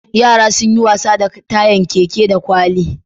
Yara sun yi wasa da tayan keke da kwali da